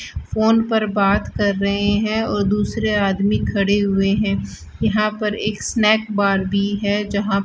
phone पर बात कर रहे हैं और दूसरे आदमी खड़े हुए हैं यहां पर एक स्नैक बार भी है जहां --